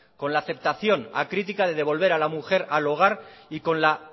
con la aceptación acrítica de devolver a la mujer al hogar y con la